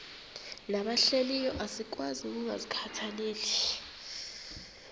nabahlehliyo asikwazi ukungazikhathaieli